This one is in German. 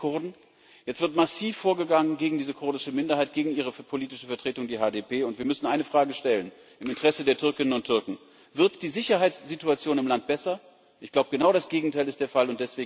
Jetzt sind es die Kurden, jetzt wird massiv vorgegangen gegen diese kurdische Minderheit, gegen ihre politische Vertretung, die HDP, und wir müssen eine Frage stellen im Interesse der Türkinnen und Türken Wird die Sicherheitssituation im Land besser? Ich glaube, genau das Gegenteil ist der Fall.